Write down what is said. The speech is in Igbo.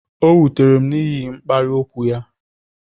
O wutere m n'ihi mkparị okwu ya